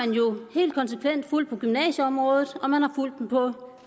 helt konsekvent fulgt på gymnasieområdet og man har fulgt den på